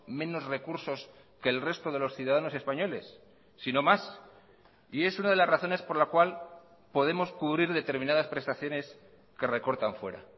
menos recursos que el resto de los ciudadanos españoles sino más y es una de las razones por la cual podemos cubrir determinadas prestaciones que recortan fuera